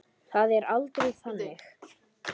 Það er aldrei þannig.